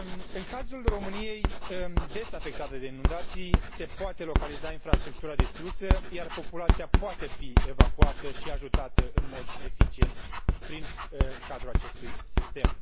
În cazul României, des afectată de inundații, se poate localiza infrastructura distrusă, iar populația poate fi evacuată și ajutată în mod eficient, prin cadrul acestui sistem.